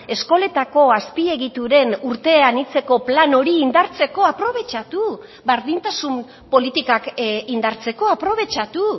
eskoletako azpiegituren urte anitzeko plan hori indartzeko aprobetxatu berdintasun politikak indartzeko aprobetxatu